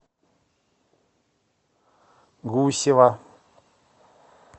гусева